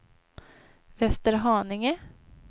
Västerhaninge